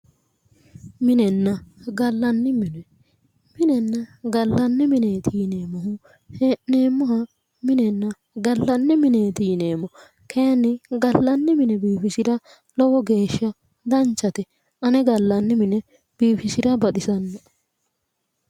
Minenna gallanni mine minenna gallanni mineeti yineemmohu hee'neemmoha minenna gallanni mineeti yineemmo kayeenni gallanni mine biifisira lowo geeshsha danchate ane gallanni mine biifisira baxisanno"e